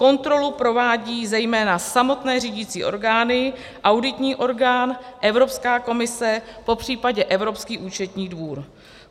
Kontrolu provádějí zejména samotné řídicí orgány, auditní orgán, Evropská komise, popřípadě Evropský účetní dvůr.